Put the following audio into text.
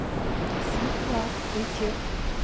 сиблаблитех